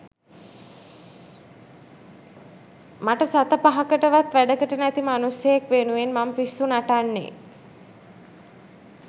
මට සත පහකටවත් වැඩකට නැති මනුස්සයෙක් වෙනුවෙන් මං පිස්සු නටන්නේ